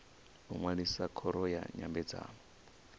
u ṅwalisa khoro ya nyambedzano